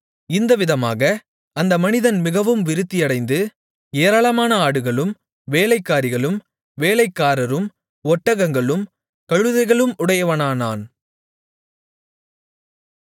இந்த விதமாக அந்த மனிதன் மிகவும் விருத்தியடைந்து ஏராளமான ஆடுகளும் வேலைக்காரிகளும் வேலைக்காரரும் ஒட்டகங்களும் கழுதைகளும் உடையவனானான்